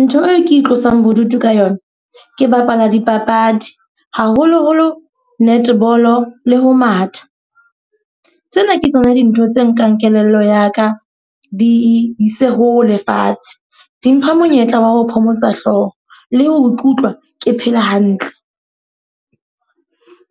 Ntho e ke itlosang bodutu ka yona, ke bapala dipapadi. Haholo-holo netball le ho matha. Tsena ke tsona dintho tse nkang kelello ya ka di e ise ho le fatshe. Di mpha monyetla wa ho phomotsa hlooho, le ho ikutlwa ke phela hantle.